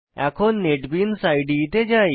এখন নেটবিনস ইদে যাই